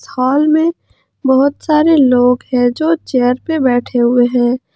हाल में बहुत सारे लोग है जो चेयर पे बैठे हुए है।